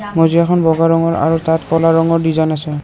মজিয়াখন বগা ৰঙৰ আৰু তাত ক'লা ৰঙৰ ডিজাইন আছে।